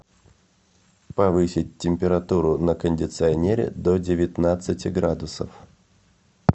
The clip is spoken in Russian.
повысить температуру на кондиционере до девятнадцати градусов